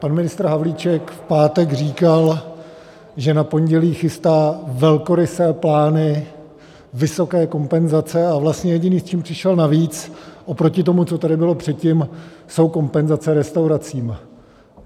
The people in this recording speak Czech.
Pan ministr Havlíček v pátek říkal, že na pondělí chystá velkorysé plány, vysoké kompenzace, a vlastně jediné, s čím přišel navíc oproti tomu, co tady bylo předtím, jsou kompenzace restauracím.